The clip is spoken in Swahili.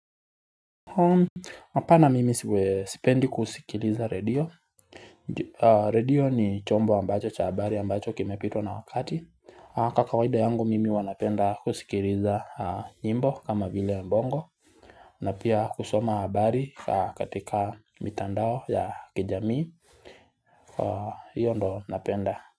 Hapana mimi sipendi kusikiliza radio radio ni chombo ambacho cha habari ambacho kimepitwa na wakati Kwa kawaida yangu mimi huwa napenda kusikiliza nyimbo kama vile bongo na pia kusoma habari katika mitandao ya kijamii hiyo ndo napenda.